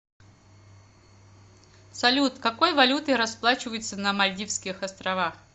салют какой валютой расплачиваются на мальдивских островах